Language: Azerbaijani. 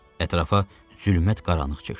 Ətrafa zülmət qaranlıq çökdü.